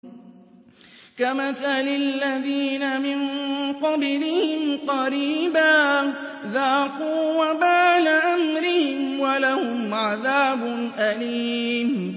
كَمَثَلِ الَّذِينَ مِن قَبْلِهِمْ قَرِيبًا ۖ ذَاقُوا وَبَالَ أَمْرِهِمْ وَلَهُمْ عَذَابٌ أَلِيمٌ